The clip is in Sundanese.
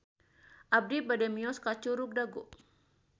Abi bade mios ka Curug Dago